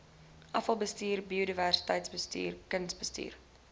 afvalbestuur biodiversiteitsbestuur kusbestuur